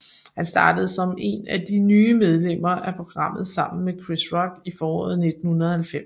Han startede som en af de nye medlemmer af programmet sammen med Chris Rock i foråret 1990